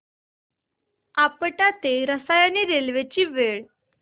आपटा ते रसायनी रेल्वे ची वेळ